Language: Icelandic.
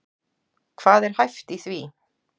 Hvað er hæft í því?